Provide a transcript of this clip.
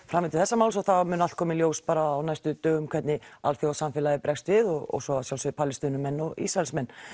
framvindu þessa máls og það mun allt koma í ljós á næstu dögum hvernig alþjóðasamfélagið bregst við og svo að sjálfsögðu Palestínumenn og Ísraelsmenn